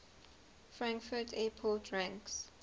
frankfurt airport ranks